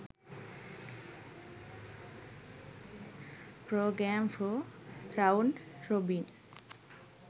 program for round robin